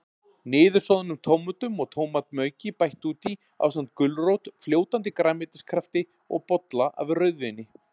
Niðursoðnum tómötum og tómatmauki bætt út í, ásamt gulrót, fljótandi grænmetiskrafti og bolla af rauðvíni.